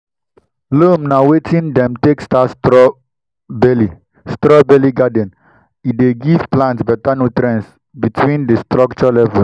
loam na wetin dem take start straw bale straw bale garden e dey give plant better nutrients between di structure levels.